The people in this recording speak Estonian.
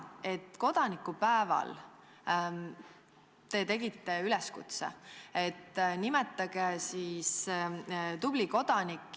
Kodanikupäeval te tegite üleskutse, et nimetage üks tubli kodanik.